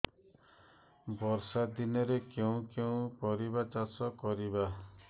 ବର୍ଷା ଦିନରେ କେଉଁ କେଉଁ ପରିବା ଚାଷ କରିବା